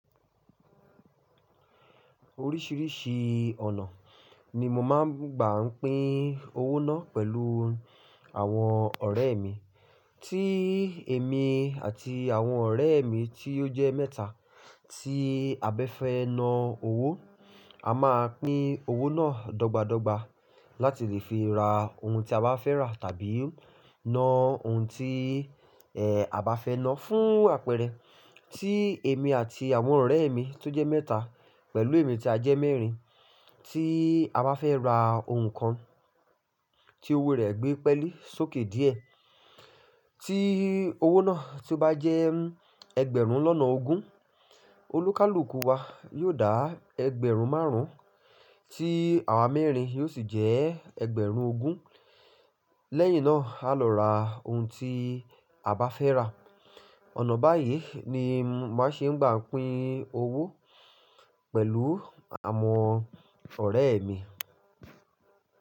Oríṣìíríṣìí ọ̀nà ni mo máa ń gbà ń pín owó náà pẹ̀lú àwọn ọ̀rẹ́ mi. Tí èmi àti àwọn ọ̀rẹ́ mi tí ó jẹ́ mẹ́ta tí a bẹ́fẹ́ na owó, a máa pín owó náà dọ́ba dọ́ba láti lè fi ra ohun tí a bá fẹ́ rà tàbí na ohun tí, ẹ́, a bá fẹ́ na fún àpẹẹrẹ, tí èmi àti àwọn ọ̀rẹ́ mi tó jẹ́ mẹ́ta pẹ̀lú èmi tí a jẹ́ mẹ́rin, tí a bá fẹ́ ra ohun kan tí owó rẹ̀ gbé pẹ́lẹ́ sókè díẹ̀, tí owó náà tó bá jẹ́ ẹgbẹ̀rún lọ́nà ogún, olúkúlùkù wa yóò dá ẹgbẹ̀rún márùn-ún, tí àwa mẹ́rin yóò sì jẹ́ ẹgbẹ̀rún ogún. Lẹ́yìn náà, a lọ ra ohun tí a bá fẹ́ rà. Ọ̀nà báyìí ni màá ṣe ń gbà ń pín owó pẹ̀lú àwọn ọ̀rẹ́ mi.